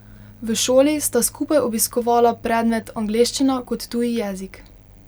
V šoli sta skupaj obiskovala predmet angleščina kot tuji jezik.